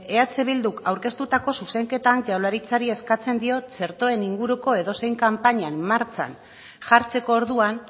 eh bilduk aurkeztutako zuzenketan jaurlaritzari eskatzen diot txertoen inguruko edozein kanpaina martxan jartzeko orduan